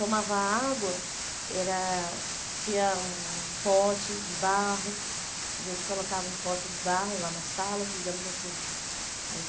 Tomava água, era tinha uns potes de barro, a gente colocava um pote de barro lá na sala, digamos assim. Aí